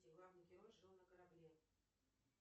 где главный герой жил на корабле